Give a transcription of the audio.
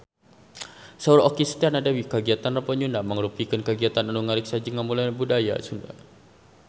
Saur Okky Setiana Dewi kagiatan Rebo Nyunda mangrupikeun kagiatan anu ngariksa jeung ngamumule budaya Sunda